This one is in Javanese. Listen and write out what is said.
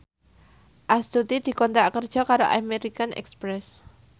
Astuti dikontrak kerja karo American Express